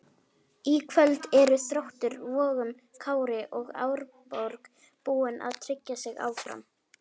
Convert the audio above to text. Í kvöld eru Þróttur Vogum, Kári og Árborg búin að tryggja sig áfram.